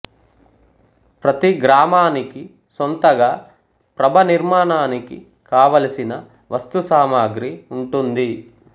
ప్రతి గ్రామానికి సోంతగా ప్రభ నిర్మాణానికి కావలిసిన వస్తు సామాగ్రి ఉంటుంది